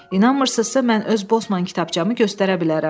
İnanmırsızsa, mən öz bosman kitabçamı göstərə bilərəm.